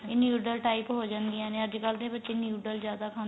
ਇਹ noodle type ਹੋ ਜਾਂਦੀਆਂ ਨੇ ਅੱਜਕਲ ਦੇ ਬੱਚੇ noodle ਜਿਆਦਾ ਖਾਂਦੇ